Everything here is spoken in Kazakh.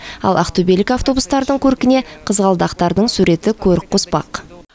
ал ақтөбелік автобустардың көркіне қызғалдақтардың суреті көрік қоспақ